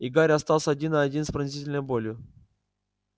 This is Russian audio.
и гарри остался один на один с пронзительной болью